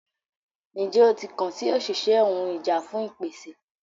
Njẹ o ti kan si oṣiṣẹ ohun ìjà fun ìpèsè?